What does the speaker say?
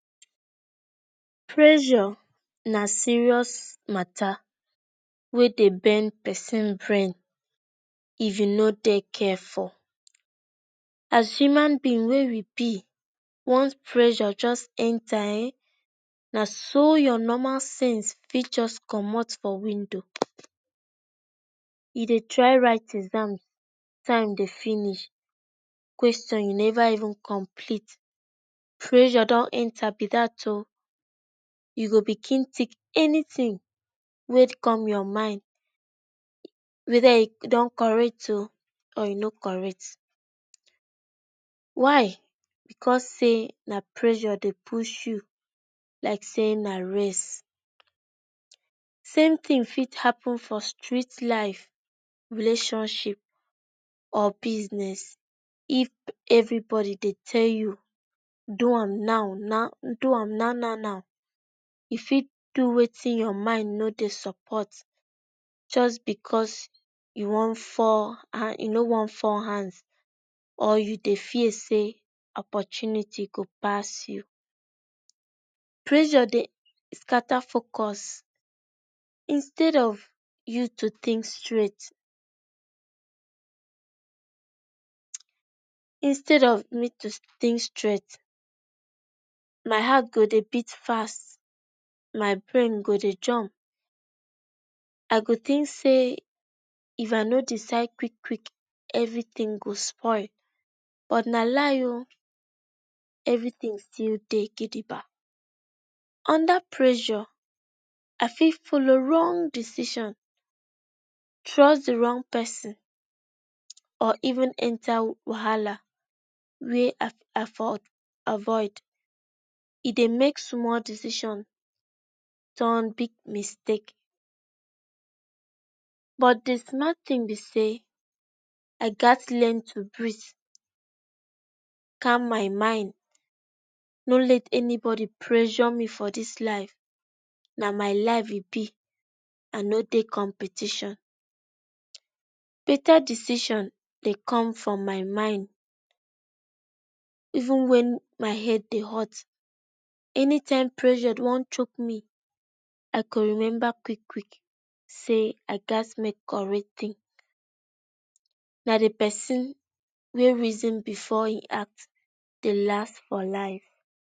Preyor na serious matter wey dey bend person brain. if u no dey careful as human bin wey wey we be once preyor just Enter[um]na so ur normal sense fit just comot for window u dey try write exam time dey finish question u neva even complete preyor don enter be dat oo u begin til anything wey come ur mind weda e dey correct oo or e no correct why cause say na preyor dey push u like say na race samething fit happen for street life relationship or business if everybody dey tell u do am now na, do am now now now e fit do wetin ur mind no dey support just because u Wan fall u no wan fall hand or u dey fear say opotunity go pass u,preyor fey scatter focus instead of u to think straight Instead of me to think straight my heart go dey beat fast my brain go dey jump o go think say if I no decide quick quick everything go spoil but na lie oo everything still day gidigba under preyor I fit follow wrong decision trust d wrong person or even enter wahama wey I for avoid e dey make small decisions turn big mistake but the small thin be say I gats learn to breeze calm my mind no let anybody prejo me for this life, na my life e be I no dey competition beta decision dey come from my mind even when my head dey hot anytime preyor wan Choke me I go remember kwick kwick say I gats make correct thinking na the person wey reason before he act dey last for life